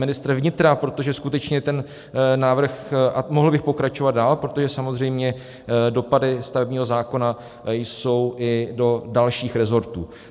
Ministr vnitra, protože skutečně ten návrh, a mohl bych pokračovat dál, protože samozřejmě dopady stavebního zákona jsou i do dalších resortů.